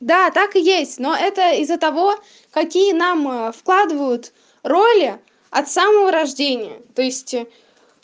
да так и есть но это из-за того какие нам вкладывают роли от самого рождения то есть